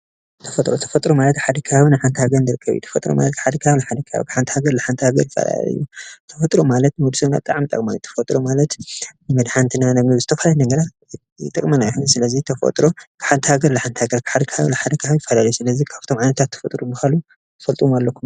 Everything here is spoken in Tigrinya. ተፈጥሮ፡- ተፈጥሮ ማለት ሓደ ከባቢ ንሓንቲ ሃገር ደገ እዩ፡፡ ተፈጥሮ ማለት ሓንቲ ሃገር ንሓንቲ ሃገር ዘፃልአ እዩ፡፡ ተፈጥሮ ማለት ንወዲሰብ ብጣዕሚ ጠቃሚ እዩ፡፡ ተፈጥሮ ማለት መድሓኒትና ንዝተፈላለየ ነገራት ይጠቅመና እዩ፡፡ ስለዚ ተፈጥሮ ሓንቲ ሃገር ንሓንቲ ሃገር ሓደ ከባቢ ንሓደ ከባቢ ይፈላለ እዩ፡፡ ስለዚ ካብቶም ዓይነታት ተፈጥሮ ዝበሃሉ ትፈልጥዎም አለኩም ዶ?